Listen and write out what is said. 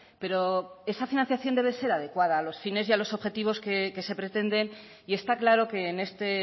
pero esa financiación debe ser adecuada a los fines y a los objetivos que se pretenden y está claro que en este